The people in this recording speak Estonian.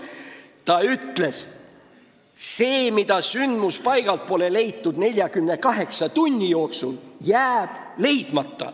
Tema ütles, et see, mida pole sündmuspaigalt 48 tunni jooksul leitud, jääbki leidmata.